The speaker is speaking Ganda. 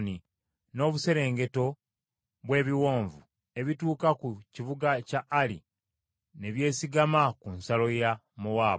n’obuserengeto bw’ebiwonvu ebituuka ku kibuga kya Ali, ne byesigama ku nsalo ya Mowaabu.”